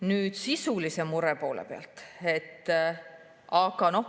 Nüüd sisulisest murest.